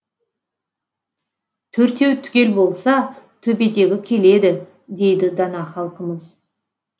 төртеу түгел болса төбедегі келеді дейді дана халқымыз